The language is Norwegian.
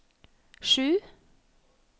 sju